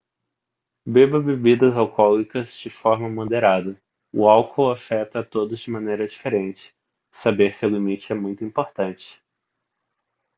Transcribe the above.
beba bebidas alcoólicas de forma moderada o álcool afeta a todos de maneira diferente e saber seu limite é muito importante